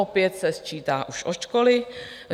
Opět se sčítá už od školy.